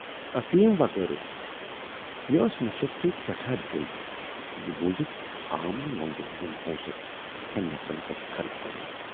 ٲفیٖم وغٲرٕ۔ مے ٲس نشس سۭتۍ سٮ۪ٹھاہ دٕے تہٕ یہِ بوٗزِتھ آم نہٕ وۅندٕ یِم پوٗنسہٕ یِتھٮ۪ن نفرن پٮ۪ٹھ خرٕچ کَرنُک۔